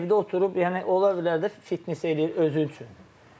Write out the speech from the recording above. Evdə oturub, yəni ola bilər də fitness eləyir özü üçün.